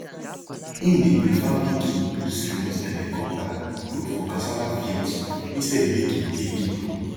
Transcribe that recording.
him dey prefer make him use remote helicopter look for cassava fields instead make him pay people